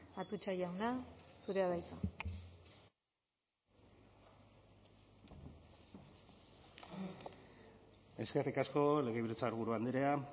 atutxa jauna zurea da hitza eskerrik asko legebiltzarburu andrea